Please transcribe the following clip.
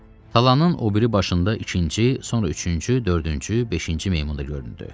Talanın o biri başında ikinci, sonra üçüncü, dördüncü, beşinci meymun da göründü.